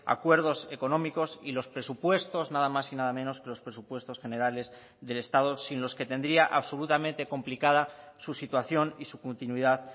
acuerdos económicos y los presupuestos nada más y nada menos que los presupuestos generales del estado sin los que tendría absolutamente complicada su situación y su continuidad